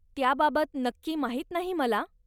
त्याबाबत नक्की माहीत नाही मला.